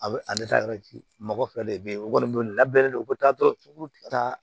A bɛ a bɛ taa yɔrɔ ci mɔgɔ fɛ de be yen o kɔni labɛnnen don u bɛ taa dɔrɔn ti ta